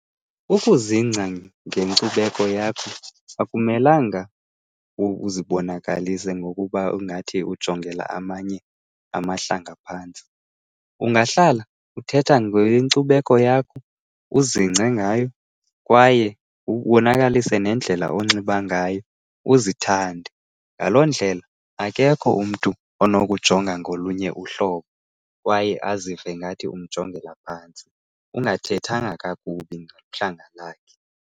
Ukuzingca ngenkcubeko yakho akumelanga uzibonakalise ngokuba ingathi ujongela amanye amahlanga phantsi. Ungahlala uthetha ngenkcubeko yakho, uzingce ngayo kwaye ubonakalise nendlela onxiba ngayo, uzithande. Ngaloo ndlela akekho umntu onokujonga ngolunye uhlobo kwaye azive ngathi umjongela phantsi, ungathethanga kakubi ngohlanga lakhe.